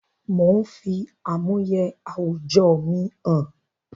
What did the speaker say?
Mò ń fi àmúyẹ àwùjọ mi hàn